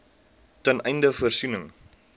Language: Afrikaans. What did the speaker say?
ten einde voorsiening